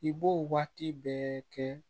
I b'o waati bɛɛ kɛ